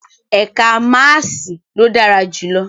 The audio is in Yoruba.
Ẹka maasii lo dara julọ